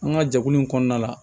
An ka jɛkulu in kɔnɔna la